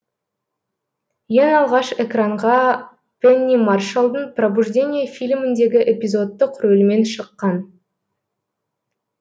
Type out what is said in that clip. ең алғаш экранға пенни маршаллдың пробуждение фильміндегі эпизодтық рөлмен шыққан